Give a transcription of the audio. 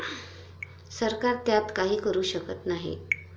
सरकार त्यात काही करू शकत नाही.